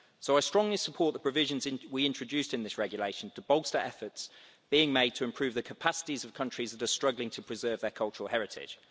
So I strongly support the provisions we introduced in this regulation to bolster efforts being made to improve the capacities of countries that are struggling to preserve their cultural heritage.